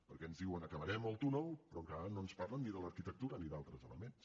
perquè ens diuen acabarem el túnel però encara no ens parlen ni de l’arquitectura ni d’altres elements